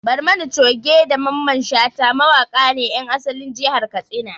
Barmani Coge da Mamman Shata mawaƙa ne ƴan asalin jihar Katsina